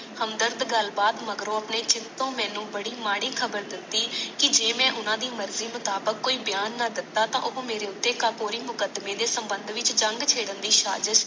ਹਮਦਰਦ ਗੱਲ ਬਾਤ ਮਗਰੋਂ ਆਪਣੇ ਹਿੰਦ ਤੋਂ ਮੈਨੂੰ ਬੜੀ ਮਾੜੀ ਖਰਾਬ ਦਿਤੀ ਕਿ ਜੇ ਮੈ ਓਨਾ ਦੀ ਮਰਜੀ ਮੁਤਾਬਕ ਕੋਈ ਬਿਆਨ ਨਾ ਦਿਤਾ ਤਾ ਉਹ ਮਾਰੇ ਉਤੇ ਕੰਪੋਰੀ ਮੁਕੱਦਮੇ ਦੇ ਸਬੰਧ ਵਿਚ ਜਾਗ ਛੱਡਣ ਦੀ ਸਾਜਿਸ